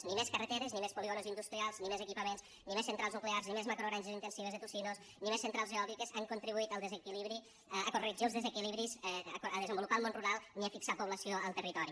ni més carreteres ni més polígons industrials ni més equipaments ni més centrals nuclears ni més macrogranges intensives de tocinos ni més centrals eòliques han contribuït a corregir els desequilibris a desenvolupar el món rural ni a fixar població al territori